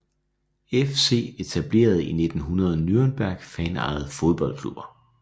FC Etableret i 1900 Nürnberg Fanejede fodboldklubber